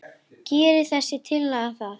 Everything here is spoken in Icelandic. Gerir þessi tillaga það?